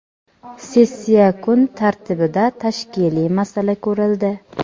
Sessiya kun tartibida tashkiliy masala ko‘rildi.